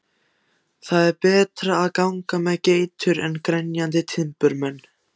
Það er betra að ganga með geitur en grenjandi timburmenn.